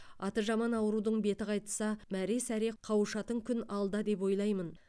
аты жаман аурудың беті қайтса мәре сәре қауышатын күн алда деп ойлаймын